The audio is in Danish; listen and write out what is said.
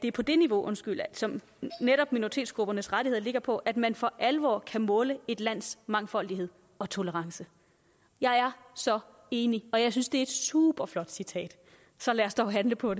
er på det niveau som minoritetsgruppernes rettigheder ligger på at man for alvor kan måle et lands mangfoldighed og tolerance jeg er så enig og jeg synes det er et superflot citat så lad os dog handle på